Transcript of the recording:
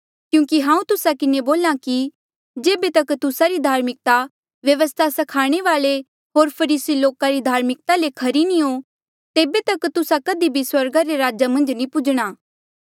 क्यूंकि हांऊँ तुस्सा किन्हें बोल्हा कि जेबे तक तुस्सा री धार्मिकता व्यवस्था स्खाणे वाल्ऐ होर फरीसी लोका री धार्मिकता ले खरी नी हो तेबे तक तुस्सा कधी भी स्वर्गा रे राजा मन्झ नी पूजणा